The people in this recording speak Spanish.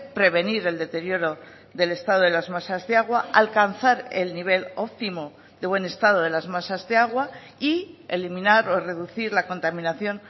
prevenir el deterioro del estado de las masas de agua alcanzar el nivel óptimo de buen estado de las masas de agua y eliminar o reducir la contaminación